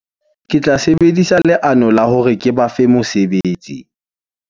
Ke tla sebedisa leano la hore ke ba fe mosebetsi.